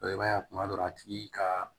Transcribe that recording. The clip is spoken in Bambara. i b'a ye kuma dɔ a tigi ka